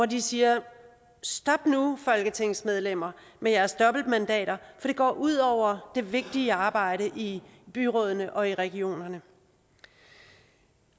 de siger stop nu folketingsmedlemmer med jeres dobbeltmandater for det går ud over det vigtige arbejde i byrådene og i regionerne